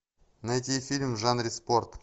найти фильм в жанре спорт